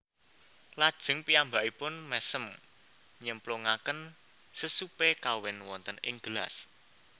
Lajeng piyambakipun mésem nyemplungaken sesupé kawin wonten ing gelas